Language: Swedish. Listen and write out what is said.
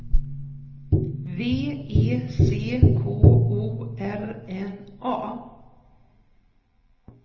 V E C K O R N A